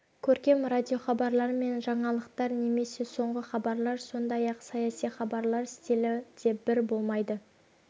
көркем радиохабарлар мен жаңалықтар немесе соңғы хабарлар сондай-ақ саяси хабарлар стилі де бірдей болмайды